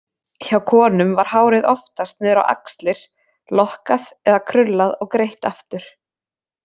Hjá konum var hárið oftast niður á axlir, lokkað eða krullað og greitt aftur.